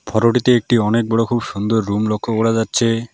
ফটোটিতে একটি অনেক বড় খুব সুন্দর রুম লক্ষ করা যাচ্ছে।